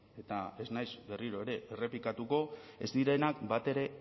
eta ez naiz berriro ere errepikatuko ez direnak batere